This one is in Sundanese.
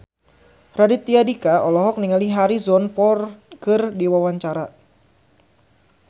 Raditya Dika olohok ningali Harrison Ford keur diwawancara